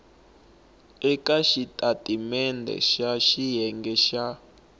eka xitatimendhe xa xiyenge xa